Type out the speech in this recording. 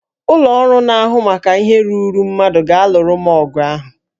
Ụlọ ọrụ na-ahụ maka ihe ruuru mmadụ ga-alụrụ m ọgụ ahụ